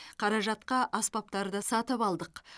қаражатқа аспаптарды сатып алдық